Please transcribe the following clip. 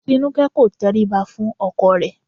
Tinúkẹ́ kò tẹríba fún ọkọ rẹ̀